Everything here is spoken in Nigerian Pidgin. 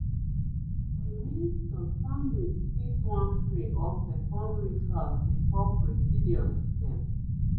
i mean some families fit wan pray or perform rituals before procedures dem